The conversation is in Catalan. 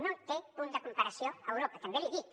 no té punt de comparació a europa també l’hi dic